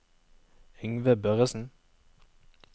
Yngve Børresen